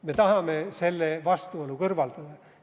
Me tahame selle vastuolu kõrvaldada.